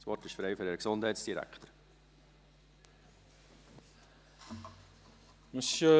Das Wort ist frei für den Gesundheitsdirektor.